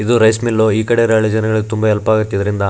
ಇದು rice mill ಈ ಕಡೆ ರಳೊ ಜನಗಾಳಿಗ್ ತುಂಬ ಹೆಲ್ಪ್ ಆಗುತ್ತೆ ಇದರಿಂದ.